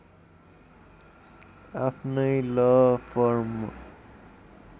आफ्नै law form